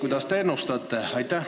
Mida te ennustate?